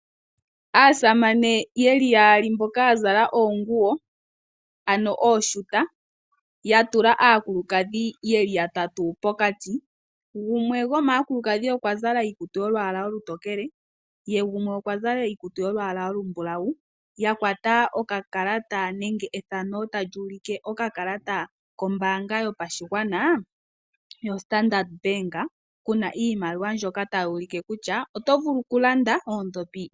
Aasamane ye li yaali mboka ya zala oonguwo, ano ooshuta, ya tula aakulukadhi ye li ya tatu pokati, gumwe gomaakulukadhi okwa zala iikutu yolwaala olutokele, ye gumwe okwa zala iikutu yolwaala olumulawu, ya kwata oka kakata nenge ethano tali ulike okakalata kombaanga yopashigwana yoStandard Bank kuna iimaliwa mbyoka tayi ulike kutya oto vulu oku landa oodhopi.